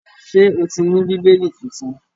Ṣé o ti ní Bíbélì tuntun?